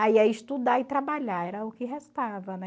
Aí é estudar e trabalhar, era o que restava, né?